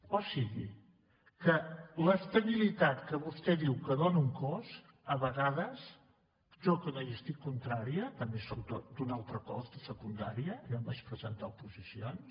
o sigui que l’estabilitat que vostè diu que dóna un cos a vegades jo que no hi sóc contrària també sóc d’un altre cos de secundària ja em vaig presentar a oposicions